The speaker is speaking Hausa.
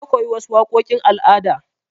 Na koyi wasu waƙoƙin al'ada.